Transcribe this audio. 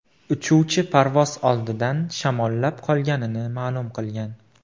Uchuvchi parvoz oldidan shamollab qolganligini ma’lum qilgan.